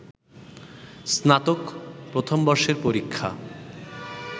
স্নাতক প্রথম বর্ষের পরীক্ষা